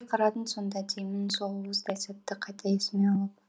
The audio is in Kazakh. қарадың сонда деймін сол уыздай сәтті қайта есіме алып